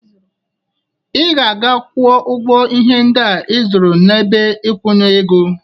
Ị ga-aga gwọ ọgwọ ihe ndịa ị zụrụ n'ebe ikwunye ego.